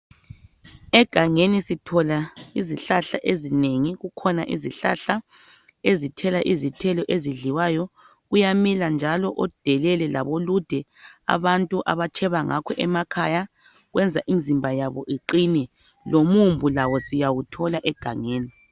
Egangeni sithola izihlahla ezinengi, kukhona izihlahla ezithela izithelo ezidliwayo. Kuyamila njalo odelele labolude abantu abatsheba ngakho emakhaya, kwenza imizimba yabo iqine. Lomubhu siwuthola egangeni.